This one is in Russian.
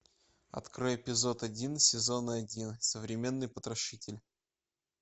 открой эпизод один сезон один современный потрошитель